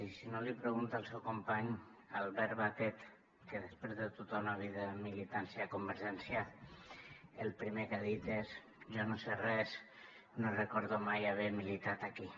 i si no l’hi pregunta al seu company albert batet que després de tota una vida de militància a convergència el primer que ha dit és jo no sé res no recordo mai haver militat aquí